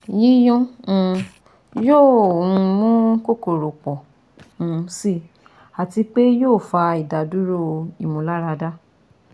Yiyun um yoo um mu kokoro pọ um si ati pe yoo fa idaduro imularada